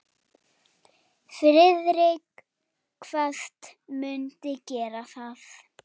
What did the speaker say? Friðrik kvaðst mundu gera það.